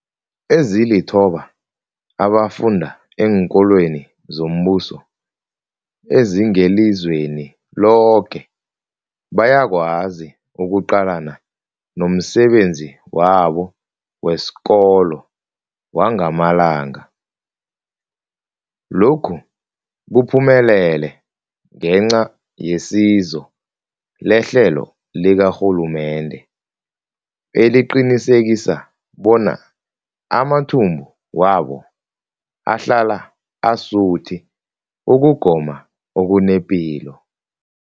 Ezilithoba abafunda eenkolweni zombuso ezingelizweni loke bayakwazi ukuqalana nomsebenzi wabo wesikolo wangamalanga. Lokhu kuphumelele ngenca yesizo lehlelo likarhulumende eliqinisekisa bona amathumbu wabo ahlala asuthi ukugoma okunepilo.